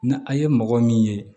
Ni a ye mɔgɔ min ye